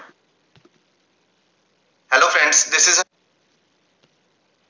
hello friends this is